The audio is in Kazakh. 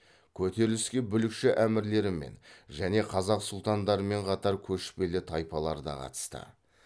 көтеріліске бүлікші әмірлермен және қазақ сұлтандарымен қатар көшпелі тайпалар да қатысты